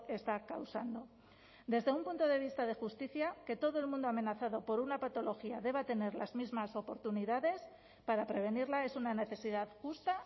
está causando desde un punto de vista de justicia que todo el mundo amenazado por una patología deba tener las mismas oportunidades para prevenirla es una necesidad justa